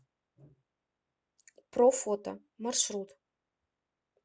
профото маршрут